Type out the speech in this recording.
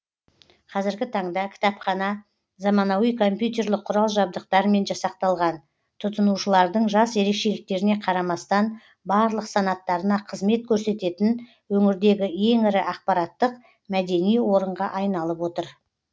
қазіргі таңда кітапхана заманауи компьютерлік құрал жабдықтармен жасақталған тұтынушылардың жас ерекшеліктеріне қарамастан барлық санаттарына қызмет көрсететін өңірдегі ең ірі ақпараттық мәдени орынға айналып отыр